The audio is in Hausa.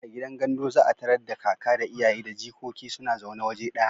A gidan gandu za a tarar da kaka da iyaye da jigogi suna zaune waje ɗaya.